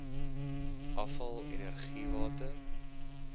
afval energie water